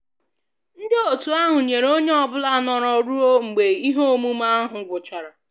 Ndị otu ahụ nyere onye ọ bụla nọrọ ruo mgbe ihe omume ahụ gwụchara